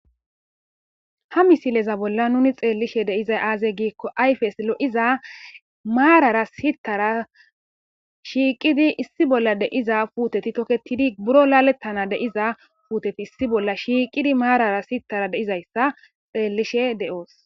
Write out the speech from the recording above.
ha misileza bolla nuni xeellishe deizay aazey giikko ayfes lo7iza maarara sittara shiiqidi issi bolla deiza puuteti toketidi buro laalettana deiza puuteti issi bolla shiiqidi maarara sitara deizayssa xeellishe de7oos